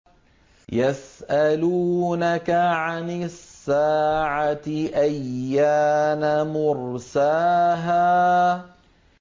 يَسْأَلُونَكَ عَنِ السَّاعَةِ أَيَّانَ مُرْسَاهَا